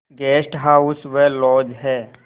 guest house व lodge हैं